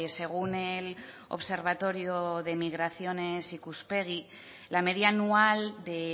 según el observatorio de migraciones ikuspegi la media anual de